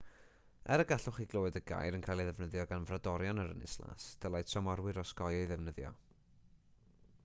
er y gallech chi glywed y gair yn cael ei ddefnyddio gan frodorion yr ynys las dylai tramorwyr osgoi ei ddefnyddio